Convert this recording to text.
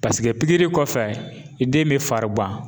pikiri kɔfɛ i den bɛ farigan